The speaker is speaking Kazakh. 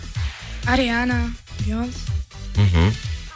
ариана бейонс мхм